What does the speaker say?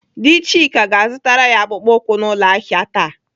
Dị Chika ga-azụtara ya akpụkpọ ụkwụ n'ụlọ ahịa taa.